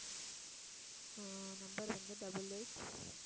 ஆஹ் number வந்து double eight